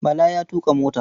Bala ya tuƙa mota.